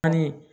Ani